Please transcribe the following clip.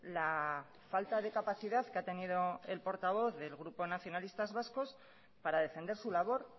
la falta de capacidad que ha tenido el portavoz del grupo nacionalistas vascos para defender su labor